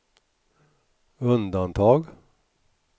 undantag